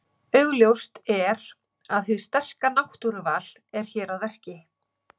Augljóst er að hið sterka náttúruval er hér að verki.